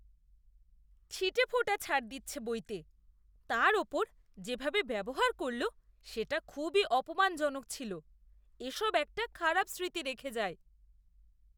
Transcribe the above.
ছিটেফোঁটা ছাড় দিচ্ছে বইতে, তার ওপর যেভাবে ব্যবহার করল সেটা খুবই অপমানজনক ছিল। এসব একটা খারাপ স্মৃতি রেখে যায়।